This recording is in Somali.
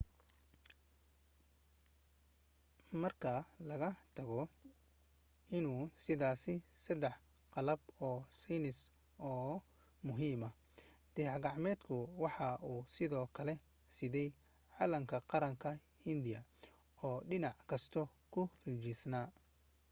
marka laga tago inuu siday saddex qalab oo saynis oo muhiim ah dayax gacmeedku waxa uu sidoo kale siday calanka qaranka hindiya oo dhinac kasta ku rinjisan